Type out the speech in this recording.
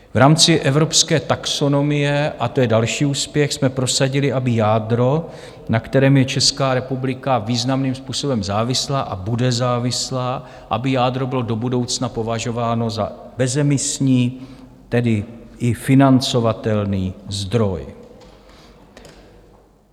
V rámci evropské taxonomie, a to je další úspěch, jsme prosadili, aby jádro, na kterém je Česká republika významným způsobem závislá a bude závislá, aby jádro bylo do budoucna považováno za bezemisní, tedy i financovatelný zdroj.